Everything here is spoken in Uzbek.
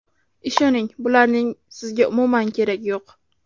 Ishoning, bularning sizga umuman keragi yo‘q.